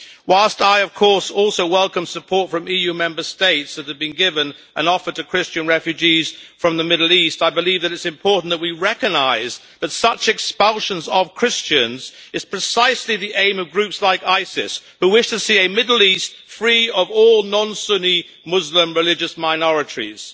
Whilst I of course also welcome the support from EU Member States that has been given and offered to Christian refugees from the Middle East, I believe that it is important that we recognise that such expulsions of Christians is precisely the aim of groups like Isis, who wish to see a Middle East free of all non Sunni Muslim religious minorities.